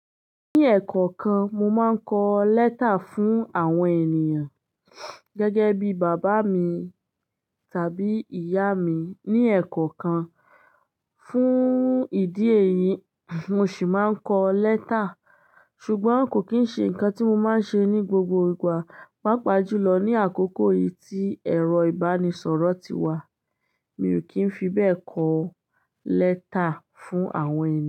Ní ẹ̀kọ́ọkan mo máa ń kọ lẹ́tà fún àwọn ènìyàn gẹ́gẹ́ bí bàbá mi tàbí ìyá mi. Ní ẹ̀kọ́ọkan fún ìdí èyí mo sì máa ń kọ lẹ́tà. Ṣùgbọ́n kò kín ń ṣe ǹkan tí mo máa ń ṣe ní gbogbo ìgbà. Pápa jùlọ ní àkókò yìí tí ẹ̀rọ ìbánisọ̀rọ̀ ti wà. Mi ò kí ń fi bẹ́ẹ̀ kọ lẹ́tà fún àwọn ènìyàn.